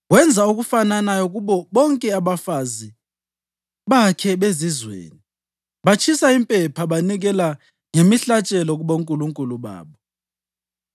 Wenza okufananayo kubo bonke abafazi bakhe bezizweni, batshisa impepha banikela ngemihlatshelo kubonkulunkulu babo.